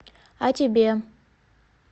а тебе